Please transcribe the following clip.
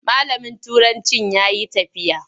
Malamin turancin ya yi tafiya.